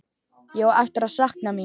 Ég á eftir að sakna mín.